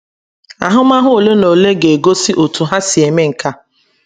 Ahụmahụ ole na ole ga - egosi otú ha si eme nke a.